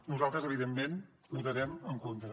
nosaltres evidentment hi votarem en contra